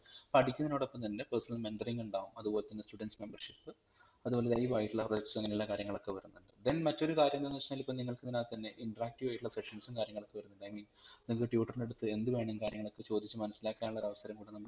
പഠിക്കുന്നതിനോടൊപ്പം തന്നെ personal mentoring ഉണ്ടാവും അതുപോലെതന്നെ students membership അതുപോലെ live ആയിട്ടുള്ള workshop അങ്ങനെയുള്ള കാര്യങ്ങളൊക്കെ വരുന്നുണ്ട് then മറ്റൊരു കാര്യം എന്താന്ന് വെച്ചയ്‌നാൽ ഇപ്പം നിങ്ങൾക്ഇതിനാകത്തന്നെ interactive ആയിട്ടുള്ള sessions ഉം കാര്യങ്ങളോക്ക I mean നിങ്ങക് tutor ൻറെ അടുത്ത് എന്തുവേണമെങ്കിലും കാര്യങ്ങളൊക്കെ ചോദിച്ചു മനസിലാക്കാനുള്ള ഒരവസരം കു‌ടെനമ്മൾ